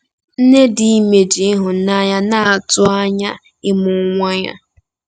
Nne dị ime ji ịhụnanya na-atụ anya ịmụ nwa ya.